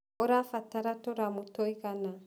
ũrabatara tũramu tũigana?